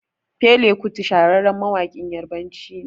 Fela kuti shahararren mawaƙin yarbanci ne